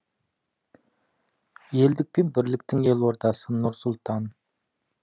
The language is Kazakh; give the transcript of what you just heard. елдік пен бірліктің елордасы нұр сұлтан